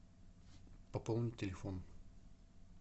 пополнить телефон